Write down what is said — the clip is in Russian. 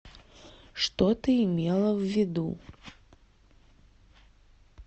что ты имела в виду